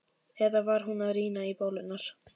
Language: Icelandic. Eða var hún að rýna í bólurnar?